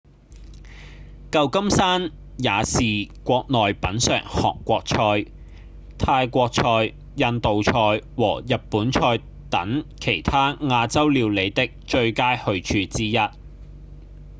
舊金山也是國內品嘗韓國菜、泰國菜、印度菜和日本菜等其他亞洲料理的最佳去處之一